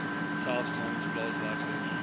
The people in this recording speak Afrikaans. selfs namens plaaswerkers